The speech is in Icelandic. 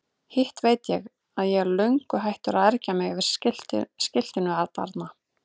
Hitt veit ég að ég er löngu hættur að ergja mig yfir skiltinu atarna.